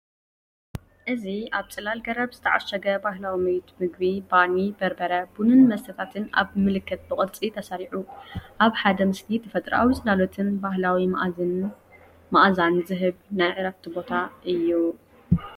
እዚ ኣብ ጽላል ገረብ ዝተዓሸገ ባህላዊ ቤት መግቢ፡ ባኒ፡ በርበረ፡ ቡንን መስተታትን ኣብቲ ምልክት ብቕርጺ ተሰሪዑ። ኣብ ሓደ ምስሊ ተፈጥሮኣዊ ጽላሎትን ባህላዊ መኣዛን ዝህብ ናይ ዕረፍቲ ቦታ።